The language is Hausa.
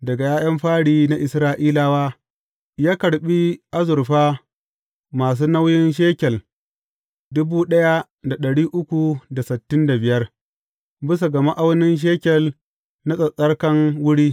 Daga ’ya’yan fari na Isra’ilawa, ya karɓi azurfa masu nauyin shekel bisa ga ma’aunin shekel na tsattsarkan wuri.